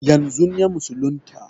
Yanzun ya musulunta